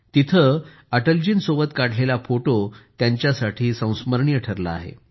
तिथे अटलजींसोबत काढलेला फोटो त्यांच्यासाठी संस्मरणीय ठरला आहे